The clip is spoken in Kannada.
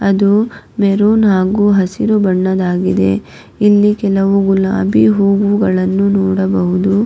ಅದು ಮೆರುನ್ ಹಾಗೂ ಹಸಿರು ಬಣ್ಣದಾಗಿದೆ ಇಲ್ಲಿ ಕೆಲವು ಗುಲಾಬಿ ಹೂವುಗಳನ್ನು ನೋಡಬಹುದು.